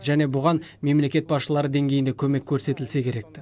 және бұған мемлекет басшылары деңгейінде көмек көрсетілсе керекті